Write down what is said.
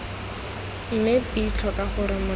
mme b tlhoka gore motho